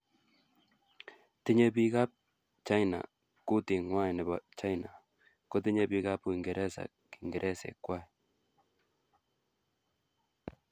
Tinyei bikap China kutingwai nebo China kotinyei bikap uingereza kingeresek ngwai